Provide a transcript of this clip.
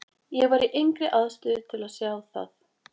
Ég var í engri aðstöðu til að sjá það.